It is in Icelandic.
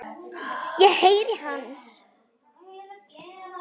Ég heyri hans.